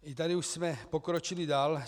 I tady už jsme pokročili dál.